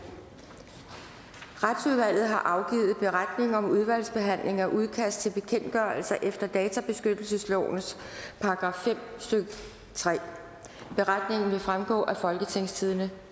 retsudvalget har afgivet beretning om udvalgsbehandling af udkast til bekendtgørelser efter databeskyttelseslovens § fem stykke tredje beretningen vil fremgå af folketingstidende